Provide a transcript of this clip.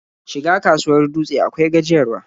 Shiga kasuwar Dutse akwai gajiyarwa.